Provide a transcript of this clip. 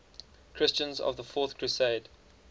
christians of the fourth crusade